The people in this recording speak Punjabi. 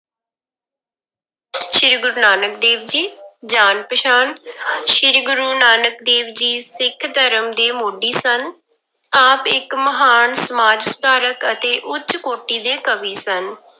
ਸ੍ਰੀ ਗੁਰੂ ਨਾਨਕ ਦੇਵ ਜੀ, ਜਾਣ ਪਛਾਣ ਸ੍ਰੀ ਗੁਰੂ ਨਾਨਕ ਦੇਵ ਜੀ ਸਿੱਖ ਧਰਮ ਦੇ ਮੋਢੀ ਸਨ, ਆਪ ਇੱਕ ਮਹਾਨ ਸਮਾਜ ਸੁਧਾਰਕ ਅਤੇ ਉੱਚ ਕੋਟੀ ਦੇ ਕਵੀ ਸਨ।